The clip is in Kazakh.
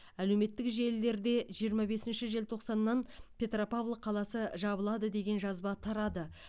әлеуметтік желілерде жиырма бесінші желтоқсаннан петропавл қаласы жабылады деген жазба тарады